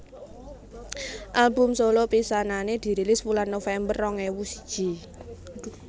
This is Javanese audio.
Album solo pisanané dirilis wulan November rong ewu siji